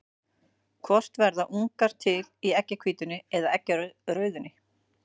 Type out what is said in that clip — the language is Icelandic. Hvort verða ungar til í eggjahvítunni eða eggjarauðunni?